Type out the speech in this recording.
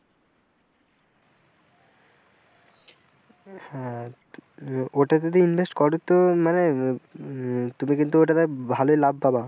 হ্যাঁ ওটা যদি invest করো তো মানে তুমি কিন্তু ওটাতে ভালোই লাভ পাবা।